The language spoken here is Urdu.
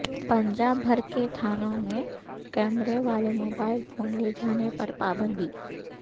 پنجاب بھرکے تھانوں میں کیمرے والے موبائل فون لے جانے پر پابندی